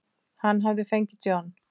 Hann hafði fengið John